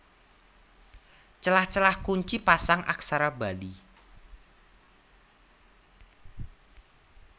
Celah celah Kunci Pasang Aksara Bali